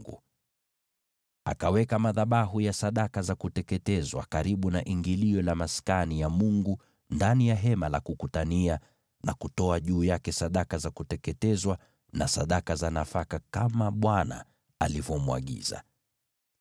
Mose akaweka madhabahu ya sadaka za kuteketezwa karibu na ingilio la Maskani ya Mungu, yaani Hema la Kukutania, na kutoa juu yake sadaka za kuteketezwa na sadaka za nafaka kama Bwana alivyomwagiza.